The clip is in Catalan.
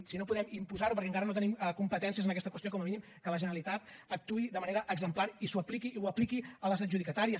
si no podem imposar ho perquè encara no tenim competències en aquesta qüestió com a mínim que la generalitat actuï de manera exemplar i ho apliqui a les adjudicatàries